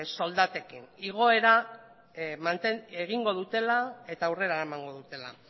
soldatekin igoera egingo dutela eta aurrera eramango dutela